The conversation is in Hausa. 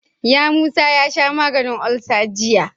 Yamusa ya sha maganin ulsa jiya.